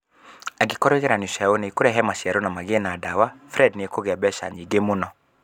Angĩkorũo igeranio ciao nĩ ikũrehe maciaro na magĩe na ndawa, Friede nĩ ekũgia mbeca nyingĩ mũno.